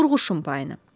Qurğuşun payını.